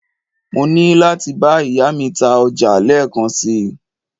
mo ni lati ba iya mi ta oja leekan si